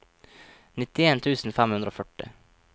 nittien tusen fem hundre og førti